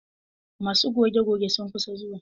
Masu goge goge sun kusan zuwa.